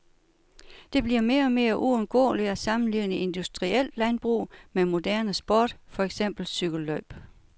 Det bliver mere og mere uundgåeligt at sammenligne industrielt landbrug med moderne sport, for eksempel cykellløb.